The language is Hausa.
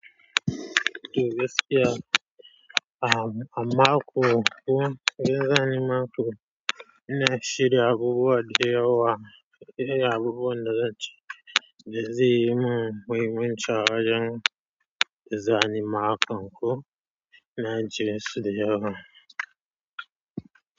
To gaskiya, a-amma ko kuma wanzani maka ina shirya abubuwa da yawa. Irin abubuwan da zan ci, da zai yi mun wajen wanzani maka ko na jere su da yawa.